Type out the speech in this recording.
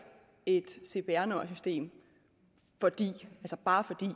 et cpr nummersystem bare fordi